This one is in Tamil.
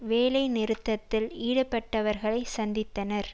வேலை நிறுத்தத்தில் ஈடுபட்டவர்களை சந்தித்தனர்